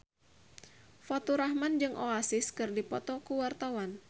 Faturrahman jeung Oasis keur dipoto ku wartawan